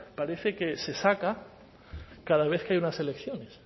parece que se saca cada vez que hay unas elecciones